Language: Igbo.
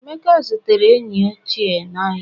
emeka zutere enyi ochie n'ahịa